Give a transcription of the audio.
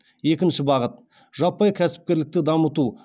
екінші бағыт жаппай кәсіпкерлікті дамыту